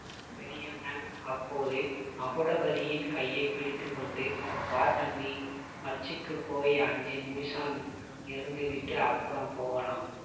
பெரியண்ணன் அப்போது மகுடபதியின் கையை பிடித்து கொண்டு வா தம்பி மச்சுக்குப் போய் அஞ்சு நிமிஷம் இருந்துவிட்டு அப்புறம் போகலாம்